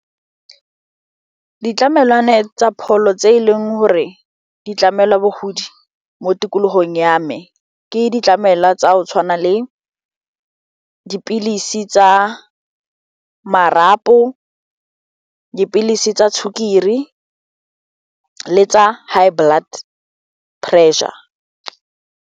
Ditlamelwana tsa pholo tse e leng gore di tlamelwa bogodi mo tikologong ya me ke ditlamelwa tsa go tshwana le dipilisi tsa marapo, dipilisi tsa sukiri le tsa high blood pressure.